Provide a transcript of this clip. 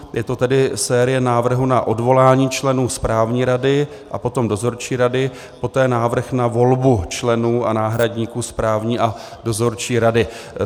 Je to tedy série návrhů na odvolání členů správní rady a potom dozorčí rady, poté návrh na volbu členů a náhradníků správní a dozorčí rady.